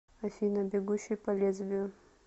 афина бегущий по лезвию